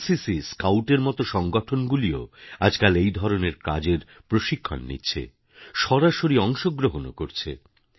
NCC scout এর মত সংগঠনগুলিও আজকাল এই ধরনের কাজের প্রশিক্ষণ নিচ্ছে সরাসরি অংশ গ্রহণও করছে